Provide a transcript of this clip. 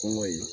Kɔngɔ ye